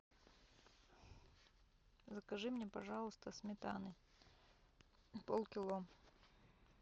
закажи мне пожалуйста сметаны полкило